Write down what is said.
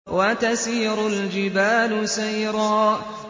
وَتَسِيرُ الْجِبَالُ سَيْرًا